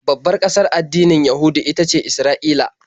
Babbar ƙasar addinin Yahudu ita ce Isra'ila.